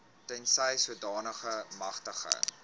tensy sodanige magtiging